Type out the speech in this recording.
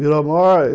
Virou morre.